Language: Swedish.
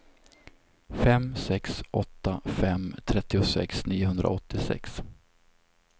fem sex åtta fem trettiosex niohundraåttiosex